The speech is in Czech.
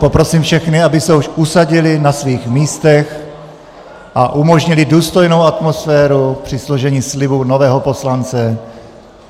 Poprosím všechny, aby se už usadili na svých místech a umožnili důstojnou atmosféru ke složení slibu nového poslance.